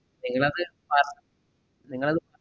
നിങ്ങളത് ആഹ് നിങ്ങളത്